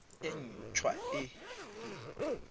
e nt hwa e e